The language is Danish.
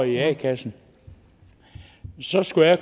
i en a kasse så skulle jeg